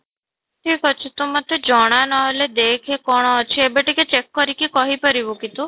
ଠିକ ଅଛି ତୁ ମୋତେ ଜଣା ନହେଲେ ଦେଖ କଣ ଅଛି ଏବେ ଟିକେ check କରିକି କହି ପାରିବୁ କି ତୁ?